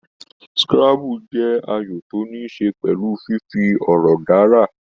Scrabbles jẹ́ ayò tó níí ṣe pẹ̀lú fífi ọ̀rọ̀ dárà.